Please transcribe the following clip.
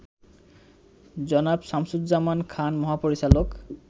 জনাব শামসুজ্জামান খান মহাপরিচালক